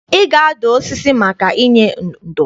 Ị ga-adụ osisi maka inye ndo!